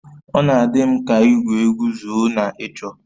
Ọ na-adị m ka igwu egwu zoo na ịchọ